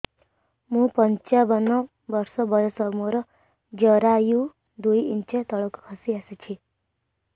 ମୁଁ ପଞ୍ଚାବନ ବର୍ଷ ବୟସ ମୋର ଜରାୟୁ ଦୁଇ ଇଞ୍ଚ ତଳକୁ ଖସି ଆସିଛି